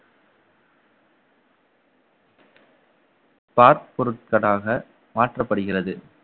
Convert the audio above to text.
பாற்பொருட்களாக மாற்றப்படுகிறது